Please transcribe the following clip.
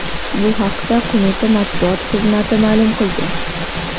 Bu haqda qo‘mita matbuot xizmati ma’lum qilgan .